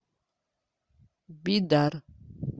бидар